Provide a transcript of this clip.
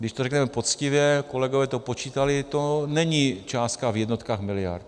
Když to řekneme poctivě, kolegové to počítali, to není částka v jednotkách miliard.